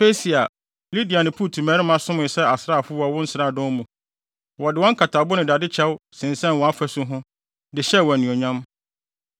“ ‘Persia, Lidia ne Put mmarima somee sɛ asraafo wɔ wo nsraadɔm mu. Wɔde wɔn nkatabo ne dade kyɛw sensɛn wʼafasu ho, de hyɛɛ wo anuonyam.